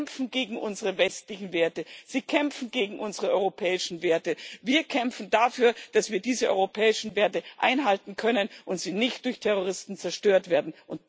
Sie kämpfen gegen unsere westlichen Werte, sie kämpfen gegen unsere europäischen Werte. Wir kämpfen dafür, dass wir diese europäischen Werte einhalten können und dass sie nicht durch Terroristen zerstört werden.